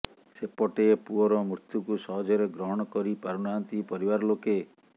ସେପଟେ ପୁଅର ମୃତ୍ୟୁକୁ ସହଜରେ ଗ୍ରହଣ କରି ପାରୁ ନାହାନ୍ତି ପରିବାର ଲୋକେ